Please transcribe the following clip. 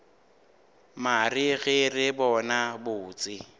mare ge re bona botse